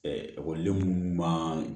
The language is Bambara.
ekɔliden minnu man